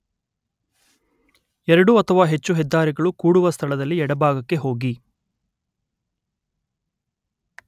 ಎರಡು ಅಥವಾ ಹೆಚ್ಚು ಹೆದ್ದಾರಿಗಳು ಕೂಡುವ ಸ್ಥಳದಲ್ಲಿ ಎಡಭಾಗಕ್ಕೆ ಹೋಗಿ